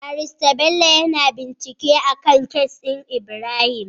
Barista Bello yAna bincike akan case din Ibrahim